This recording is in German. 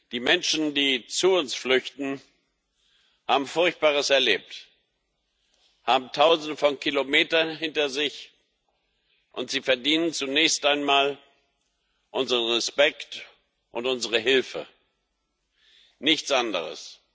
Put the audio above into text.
Die Menschen, die zu uns flüchten, haben Furchtbares erlebt, haben Tausende von Kilometern hinter sich, und sie verdienen zunächst einmal unseren Respekt und unsere Hilfe nichts anderes.